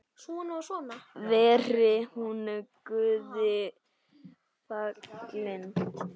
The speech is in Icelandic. Veri hún Guði falin.